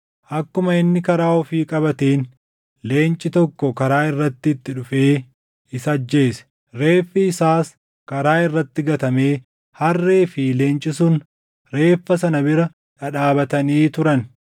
Akkuma inni karaa ofii qabateen leenci tokko karaa irratti itti dhufee isa ajjeese; reeffi isaas karaa irratti gatamee harree fi leenci sun reeffa sana bira dhadhaabatanii turan.